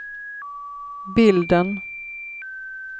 bilden